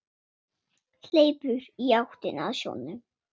Hleypur í áttina að sjónum.